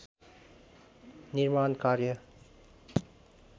निर्माण कार्य